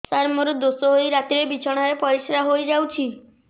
ସାର ମୋର ଦୋଷ ହୋଇ ରାତିରେ ବିଛଣାରେ ପରିସ୍ରା ହୋଇ ଯାଉଛି